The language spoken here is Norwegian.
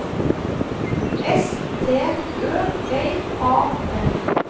S T Ø L A N